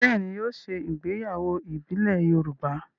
Bẹ́ẹ̀ ni, yóò ṣe ìgbéyàwó ìbílẹ̀ Yorùbá.